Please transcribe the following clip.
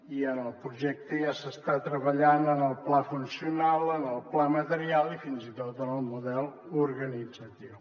i en el projecte ja s’està treballant en el pla funcional en el pla material i fins i tot en el model organitzatiu